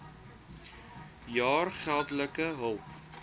jaar geldelike hulp